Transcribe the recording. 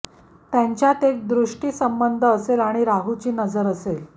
त्यांच्यात एक दृष्टीसंबंध असेल आणि राहूची नजर असेल